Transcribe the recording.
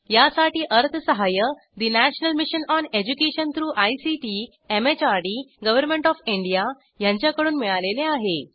यासाठी अर्थसहाय्य national mission on education through ICT MHRD government of India यांच्याकडून मिळालेले आहे